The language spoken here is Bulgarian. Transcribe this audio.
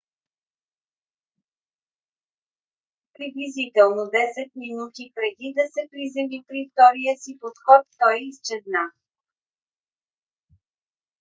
приблизително 10 минути преди да се приземи при втория си подход той изчезна